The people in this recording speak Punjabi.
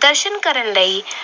ਦਰਸ਼ਨ ਕਰਨ ਲਈ